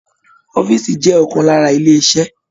Ọ̀fiísí jẹ ọkan lára ilé iṣẹ.